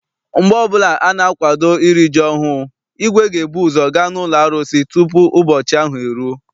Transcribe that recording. Mgbe ọbụla ana-akwado iri ji ọhụụ, igwe ga ebuzo gaa n'ụlọ arụsị tupu ụbọchị ahụ eruo.